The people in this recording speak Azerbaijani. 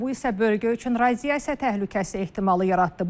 Bu isə bölgə üçün radiasiya təhlükəsi ehtimalı yaratdı.